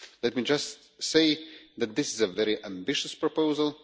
Let me just say that this is a very ambitious proposal.